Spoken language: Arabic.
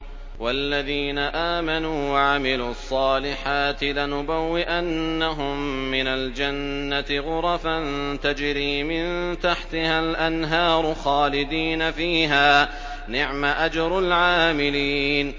وَالَّذِينَ آمَنُوا وَعَمِلُوا الصَّالِحَاتِ لَنُبَوِّئَنَّهُم مِّنَ الْجَنَّةِ غُرَفًا تَجْرِي مِن تَحْتِهَا الْأَنْهَارُ خَالِدِينَ فِيهَا ۚ نِعْمَ أَجْرُ الْعَامِلِينَ